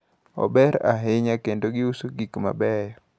Ober ahinya kendo giuso gikmabeyo.